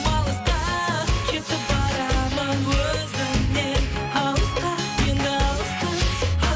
алысқа кетіп барамын өзіңнен алысқа енді алысқа